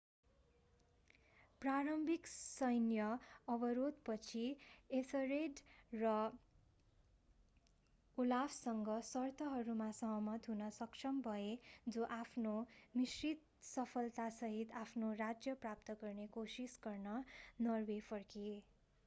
प्रारम्भिक सैन्य अवरोधपछि एथर्रेड ओलाफसँग सर्तहरूमा सहमत हुन सक्षम भए जो आफ्नो मिश्रित सफलतासहित आफ्नो राज्य प्राप्त गर्ने कोसिस गर्न नर्वे फर्किए